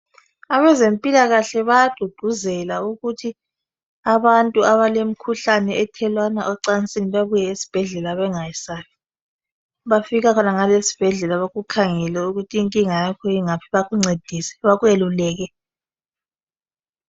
Abezempilakahle bayagqugquzela ukuthi abantu abalemkhuhlane ethelelwana ocansini bebuye esibhedlela bengayesabi bafika khonangale esibhedlela bakukhangele ukuthi inkinga yakho ingaphi bakuncedise bakweluleke.